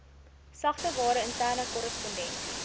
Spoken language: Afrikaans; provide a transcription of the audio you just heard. sagteware interne korrespondensie